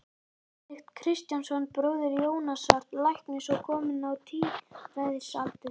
Benedikt Kristjánsson, bróðir Jónasar læknis og kominn á tíræðisaldur.